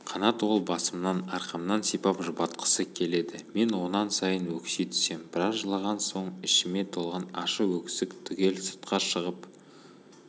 қанат ол басымнан арқамнан сипап жұбатқысы келеді мен онан сайын өкси түсем біраз жылаған соң ішіме толған ащы өксік түгел сыртқа шығып